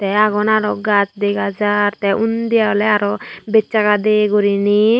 te agon araw gaz dega jar te undi awle araw bejsaga de gurinei.